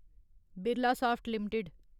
Birlasoft limited